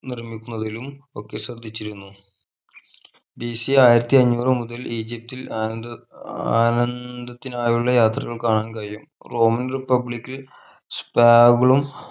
നിർമിക്കുന്നതിലും ഒക്കെ ശ്രദ്ധിച്ചിരുന്നു BC ആയിരത്തി അന്നൂർ മുതൽ ഈജിപ്തിൽ ആനന്ദ ആനന്ദത്തിനായുള്ള യാത്രകൾ കാണാൻ കഴിയും roman republicspable ഉം